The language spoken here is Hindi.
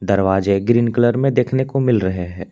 दरवाजे ग्रीन कलर में देखने को मिल रहे है।